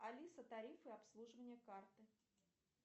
алиса тарифы обслуживания карты